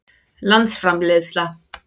landsframleiðsla